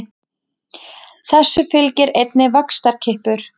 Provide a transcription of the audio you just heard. Þessu fylgir einnig vaxtarkippur.